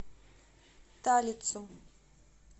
талицу